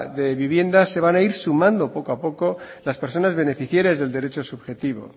de vivienda se van a ir sumando poco a poco las personas beneficiarias de derecho subjetivo